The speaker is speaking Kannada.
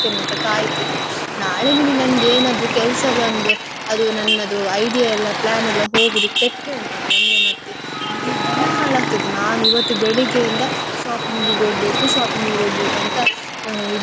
ನನ್ಗೆ ಏನಾದ್ರೂ ಕೆಲ್ಸ ಬಂದು ಅದು. ನನ್ನದು idea plan ಎಲ್ಲಾ ಹೋಗುದು ಕೆಟ್ಟ್ರೆ ಉಂಟಲಾ ನನ್ಗೆ ಮತ್ತೆ ಇಡೀ ದಿನ ಹಾಳಾಗ್ತದೆ. ನಾನ್ ಇವತ್ತು ಬೆಳಗ್ಗೆಯಿಂದ shopping ಇಗೆ ಹೋಗ್ಬೇಕು, shopping ಇಗೆ ಹೋಗ್ಬೇಕು ಅಂತ ಇದು ಮಾಡಿ ಇಡುತ್ತಿದ್ದೇನೆ. ಮತ್ತೆ ನನ್ನ friends ಎಲ್ಲಾ call. ಮಾಡಿದ್ದಕ್ಕೆಸ shopping ಇಗೆ.